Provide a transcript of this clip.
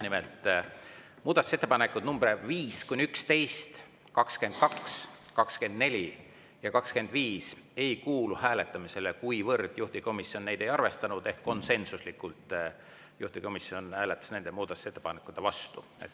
Nimelt, muudatusettepanekud nr 5–11, 22, 24 ja 25 ei kuulu hääletamisele, kuivõrd juhtivkomisjon neid ei arvestanud ehk konsensuslikult juhtivkomisjon hääletas nende muudatusettepanekute vastu.